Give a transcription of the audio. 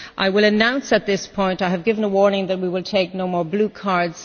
I will announce at this point and give a warning that we will take no more blue cards.